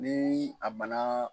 Ni a bana